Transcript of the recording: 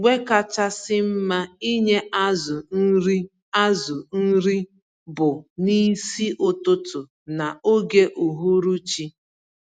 Mgbé kachasị mma ịnye azụ nri azụ nri bu N'isi ụtụtụ na ógè uhuruchi.